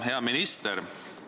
Hea minister!